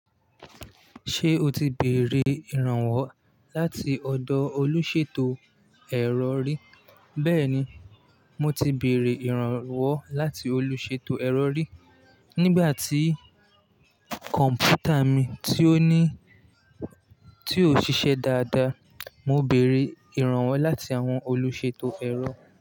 Ṣé o ti bèrè ìrànwọ́ láti ọ̀dọ̀ olùṣètò ẹ̀rọ rí? Bẹ́ẹ̀ni, mo ti bèrè ìrànwọ́ láti olùṣètò ẹ̀rọ rí. Nígbà tí kọ̀m̀pútà mi tí ò ṣiṣẹ́ dáadáa, mo bèrè ìrànwọ́ láti àwọn olùṣètò ẹ̀rọ.